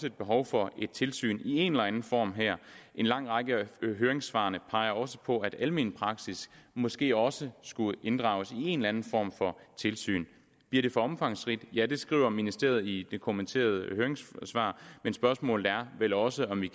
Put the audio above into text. et behov for et tilsyn i en eller anden form her en lang række af høringssvarene peger også på at almen praksis måske også skulle inddrages i en eller anden form for tilsyn bliver det for omfangsrigt ja det skriver ministeriet i det kommenterede høringssvar men spørgsmålet er vel også om